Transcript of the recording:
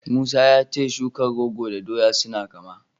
Musa ya ce shukar rogo da ta doya suna kama.